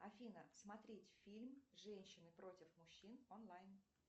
афина смотреть фильм женщины против мужчин онлайн